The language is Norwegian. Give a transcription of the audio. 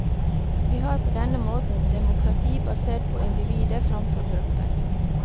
Vi har på denne måten demokrati basert på individet framfor gruppen.